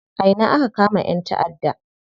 A ina aka kama ƴan taʼadda?